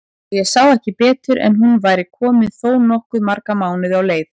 Og ég sá ekki betur en hún væri komin þó nokkuð marga mánuði á leið!